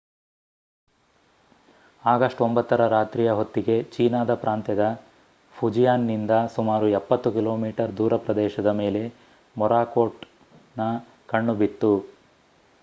August 9 ರ ರಾತ್ರಿಯ ಹೊತ್ತಿಗೆ ಚೀನಾದ ಪ್ರಾಂತ್ಯದ ಫುಜಿಯಾನ್‌ನಿಂದ ಸುಮಾರು ಎಪ್ಪತ್ತು ಕಿಲೋಮೀಟರ್ ದೂರ ಪ್ರದೇಶದ ಮೇಲೆ ಮೊರಾಕೋಟ್‌ನ ಕಣ್ಣು ಬಿತ್ತು